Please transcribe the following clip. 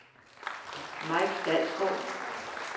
Mike Dalsgaard